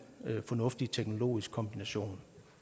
fornuftig teknologisk kombination